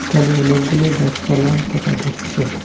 এখানে অনেকগুলো গাছপালা দেখা যাচ্ছে।